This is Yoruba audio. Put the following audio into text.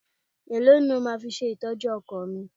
Èló ni o máa fi ṣe ìtọ́jú ọkọ̀ mi?